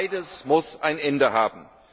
Beides muss ein Ende haben!